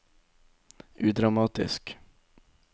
udramatisk